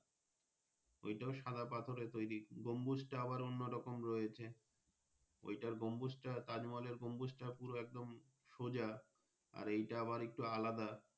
ওটাও সাদা পাথরের তৌরি গম্বুজ টাও আবার অন্য রকম রয়েছে ঐটার গম্বুজটা তাজমহল এর গাম্বুটও পুরো একদম সোজা এই টা আবার একটু আলাদা।